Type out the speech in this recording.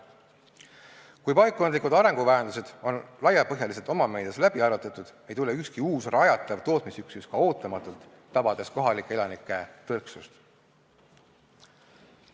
Kui paikkondlikud arenguvajadused on laiapõhjaliselt omameedias läbi arutatud, ei tule ka ükski uus rajatav tootmisüksus ootamatult, tabades kohalike elanike tõrksust.